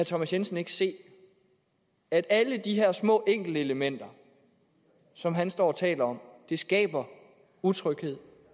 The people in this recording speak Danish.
thomas jensen ikke se at alle de her små enkeltelementer som han står og taler om skaber utryghed